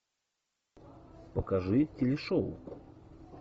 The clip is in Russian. покажи телешоу